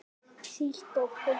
Þýtt á pólsku.